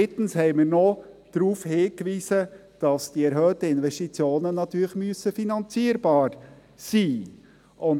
Drittens wiesen wir noch darauf hin, dass die erhöhten Investitionen natürlich finanzierbar sein müssen.